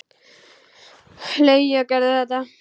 Leigja Gerði þetta.